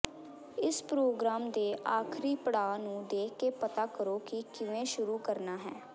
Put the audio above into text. ਇਸ ਪ੍ਰੋਗ੍ਰਾਮ ਦੇ ਆਖਰੀ ਪੜਾਅ ਨੂੰ ਦੇਖ ਕੇ ਪਤਾ ਕਰੋ ਕਿ ਕਿਵੇਂ ਸ਼ੁਰੂ ਕਰਨਾ ਹੈ